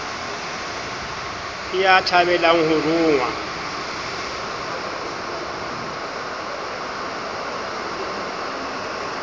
ke ya thabelang ho rongwa